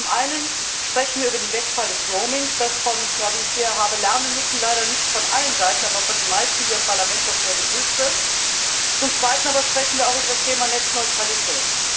Zum Einen sprechen wir über den Wegfall des Roamings, das, wie ich hier habe lernen müssen, leider nicht von allen Seiten, aber von den meisten hier im Parlament doch sehr begrüßt wird. Zum Zweiten aber sprechen wir auch über das Thema Netzneutralität.